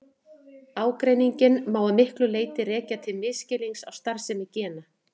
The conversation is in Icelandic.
Ágreininginn má að miklu leyti rekja til misskilnings á starfsemi gena.